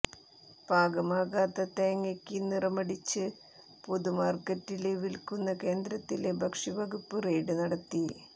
പാകമാകാത്ത തേങ്ങയ്ക്ക് നിറമടിച്ച് പൊതുമാര്ക്കറ്റില് വില്ക്കുന്ന കേന്ദ്രത്തില് ഭക്ഷ്യവകുപ്പ് റെയ്ഡ് നടത്തി